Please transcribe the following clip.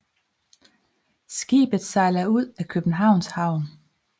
Skibet sejler ud af Københavns Havn